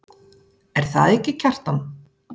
Er það ekki, Kjartan?